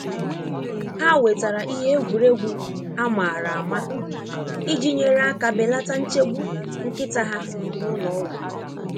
Ha wetara ihe egwuregwu amara ama iji nyere aka belata nchegbu nkịta ha na ụlọọgwụ.